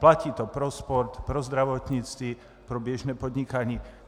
Platí to pro sport, pro zdravotnictví, pro běžné podnikání.